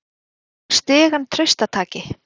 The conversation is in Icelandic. Tekur stigann traustataki.